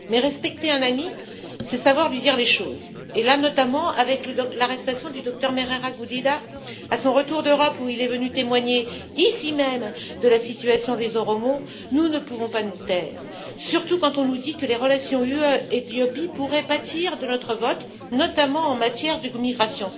Mais respecter un ami, c'est savoir lui dire les choses aujourd'hui notamment, avec l'arrestation du Docteur Merera Gudina, à son retour d'Europe, où il est venu témoigner, ici même, de la situation des Oromos, nous ne pouvons pas nous taire. À plus forte raison quand on nous dit que les relations UE Éthiopie pourraient pâtir de notre vote, notamment en matière de migration.